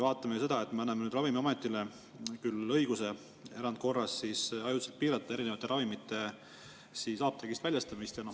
Vaatame nüüd seda, et me anname Ravimiametile õiguse erandkorras ajutiselt piirata erinevate ravimite apteegist väljastamist.